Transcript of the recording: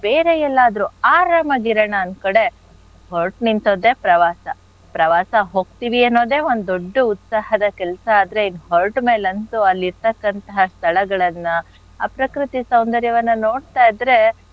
ಬೇರೆ ಎಲ್ಲಾದ್ರು ಆರಾಮಾಗ್ ಇರಣ ಒಂದ್ ಕಡೆ ಹೊರ್ಟ್ ನಿಂತದ್ದೆ ಪ್ರವಾಸ. ಪ್ರವಾಸ ಹೋಗ್ತೀವಿ ಅನ್ನೋದೆ ಒಂದ್ ದೊಡ್ಡು ಉತ್ಸಾಹದ ಕೆಲ್ಸ ಆದ್ರೆ ಇನ್ ಹೊರ್ಟ್ ಮೇಲಂತೂ ಅಲ್ ಇರ್ತಕ್ಕಂಥ ಸ್ಥಳಗಳನ್ನ ಆ ಪ್ರಕೃತಿ ಸೌಂದರ್ಯವನ್ನ ನೋಡ್ತಾ ಇದ್ರೆ,